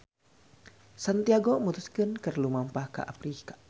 Santiago mutuskeun keur lumampah ka Afrika.